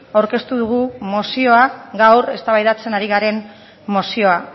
aurkeztu dugu mozioa gaur eztabaidatzen ari garen mozioa